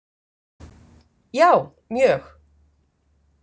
Já, mjög.